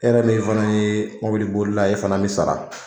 E yɛrɛ min fana ye mɔbili bolila ye, e fana bi sara.